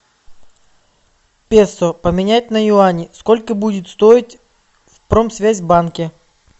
песо поменять на юани сколько будет стоить в промсвязьбанке